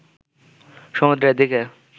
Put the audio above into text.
সমুদ্রের দিকে